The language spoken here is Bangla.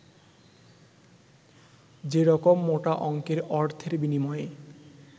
যেরকম মোটা অংকের অর্থের বিনিময়ে